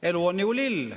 Elu on ju lill.